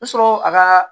I sɔrɔ a ka